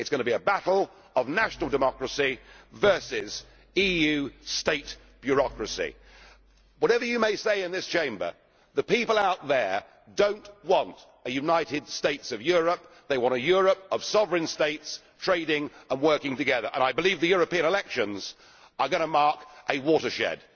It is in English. It is going to be a battle of national democracy versus EU state democracy. Whatever you may say in this Chamber, the people out there do not want a united states of Europe, they want a Europe of sovereign states trading and working together, and I believe the European elections are going to mark a watershed.